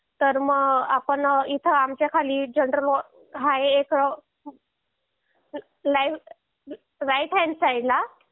तर मग आपण इथं आमचा खाली राइट हॅन्ड साईड ला